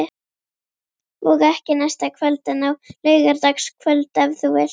Og ekki næsta kvöld, en á laugardagskvöld ef þú vilt.